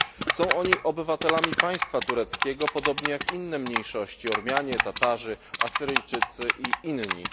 Są oni obywatelami państwa tureckiego, podobnie jak inne mniejszości Ormianie, Tatarzy, Asyryjczycy i inni.